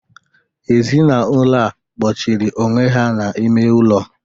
Ezinaụlọ a kpọchiri onwe ha n'ime ụlọ.